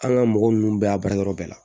An ka mɔgɔ ninnu bɛɛ y'a baara yɔrɔ bɛɛ la